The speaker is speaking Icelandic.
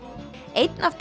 einn af